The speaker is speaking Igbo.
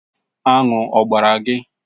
Aṅụ ọ gbara gị?